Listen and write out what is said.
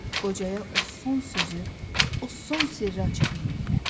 Qocaya o son sözü, o son sirri aça bilmirlər.